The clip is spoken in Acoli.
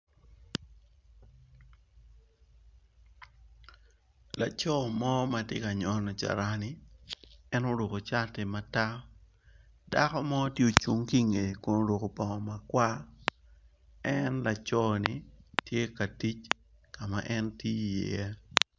Laco mo matye ka nyono carani en oruko cati matar sako mo tye ocung ki nge kun oruko bongo makwar en laco ni tye ka tic kama en tiyo i ye.